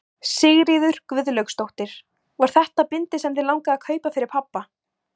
Sigríður Guðlaugsdóttir: Var þetta bindið sem þig langaði að kaupa fyrir pabba?